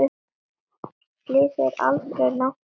Slysið er aldrei langt undan.